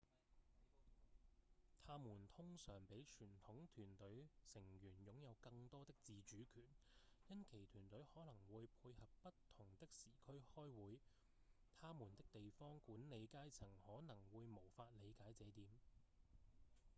他們通常比傳統團隊成員擁有更多的自主權因其團隊可能會配合不同的時區開會他們的地方管理階層可能會無法理解這點